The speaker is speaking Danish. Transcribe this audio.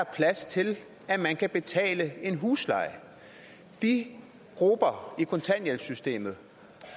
plads til at man kan betale en husleje de grupper i kontanthjælpssystemet